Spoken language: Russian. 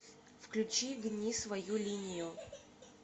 включи гни свою линию